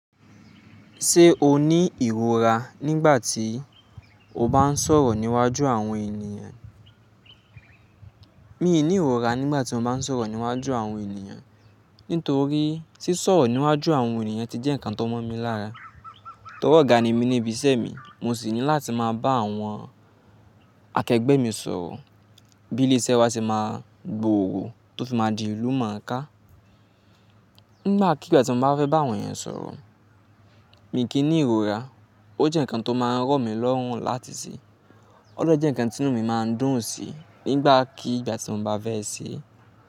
Ṣé o ní ìrora nígbà tí o bá ń sọ̀rọ̀ níwájú àwọn ènìyàn? Mi ò ní ìrora nígbà tí mo bá ń sọ̀rọ̀ níwájú àwọn ènìyàn, nítorí sisọ̀rọ̀ níwájú àwọn ènìyàn ti jẹ́ ǹkan tó mọ̀ mí lára. Tọ́ri ọ̀gá ni mí ní ibi iṣẹ́ mi, mo sì ní láti máa bá àwọn akẹgbẹ́ mi sọ̀rọ̀ bí ilé iṣẹ́ wa ṣe máa gboòrò tó fi máa di ìlú moo ká. Nígbàkigbà tí mo bá fẹ́ bá àwọn ènìyàn sọ̀rọ̀, mi kì í ní ìrora. Ó jẹ́ ǹkan tó máa ń rọ̀ mí lọ́rùn láti ṣe. O de jẹ́ ǹkan tí inú mi máa ń dùn sí nígbàkigbà tí mo bá fẹ́ ṣẹ́.